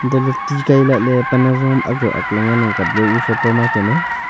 hantoh lah ley ri kai lah ley pan tsua am ang jaw e photo ma kemey.